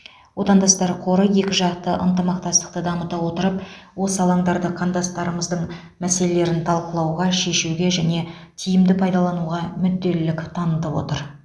отандастар қоры екіжақты ынтымақтастықты дамыта отырып осы алаңдарды қандастарымыздың мәселелерін талқылауға шешуге тиімді пайдалануға мүдделілік танытып отыр